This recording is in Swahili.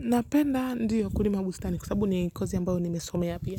Napenda ndio kulima bustani kwa sababu ni kazi ambayo nimesomea pia.